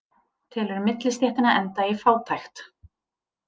Telur millistéttina enda í fátækt